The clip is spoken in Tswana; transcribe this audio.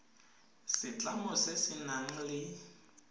setlamo se se nang le